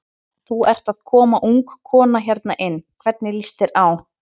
Þú ert að koma ung kona hérna inn, hvernig líst þér á?